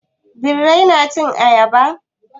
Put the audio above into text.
Birai na cin ayaba?